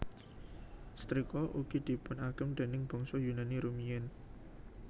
Setrika ugi dipunagem déning bangsa Yunani rumiyin